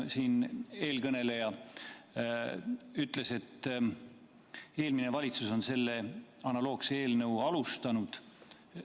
Siin eelkõneleja ütles, et eelmine valitsus on selle analoogse eelnõu algatanud.